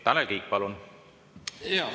Tanel Kiik, palun!